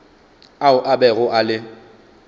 ao a bego a le